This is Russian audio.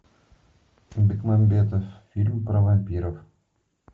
бекмамбетов фильм про вампиров